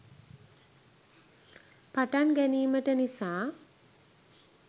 පටන් ගැනීමට නිසා